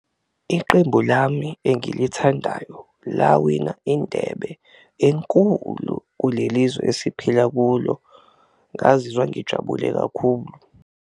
Iqembu lami engilithandayo lawina indebe enkulu kuleli zwe esiphila kulo, ngazizwa ngijabule kakhulu.